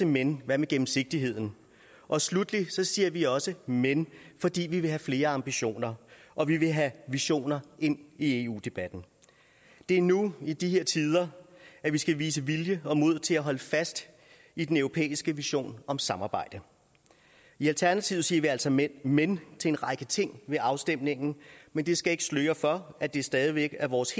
men hvad med gennemsigtigheden og sluttelig siger vi også men fordi vi vil have flere ambitioner og vi vil have visioner ind i eu debatten det er nu i de her tider at vi skal vise vilje og mod til at holde fast i den europæiske vision om samarbejde i alternativet siger vi altså men men til en række ting ved afstemningen men det skal ikke sløre for at det stadig væk er vores